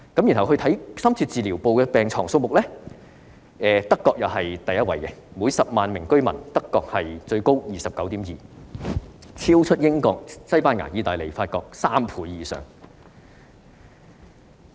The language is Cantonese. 至於深切治療部的病床數目，德國仍是第一位，每10萬名居民有 29.2 張，超出英國、西班牙、意大利及法國3倍以上。